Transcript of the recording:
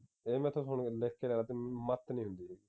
ਇਹ ਮੇਰੇ ਤੋਂ ਸੁਣ ਲਿਖ ਕੇ ਲੈਲਾ ਤੂੰ ਮੱਤ ਨੀ ਹੁੰਦੀ